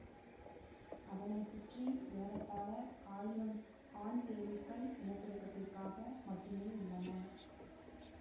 அதனை சுற்றி ஏறத்தாழ ஆயிரம் ஆண் தேனீக்கள் இனப்பெருக்கதிற்காக மட்டுமே உள்ளன